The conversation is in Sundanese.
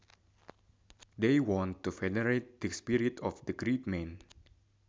They wanted to venerate the spirit of the great man